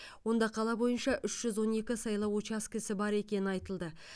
онда қала бойынша үш жүз он екі сайлау учаскесі бар екені айтылды